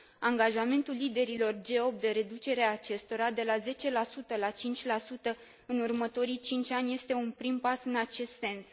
Angajamentul liderilor G8 de reducere a acestora de la 10 la 5 în următorii cinci ani este un prim pas în acest sens.